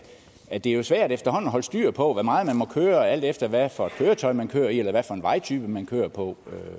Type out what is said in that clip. at det jo er svært efterhånden at holde styr på hvor meget man må køre alt efter hvad for et køretøj man kører i eller hvad for en vejtype man kører på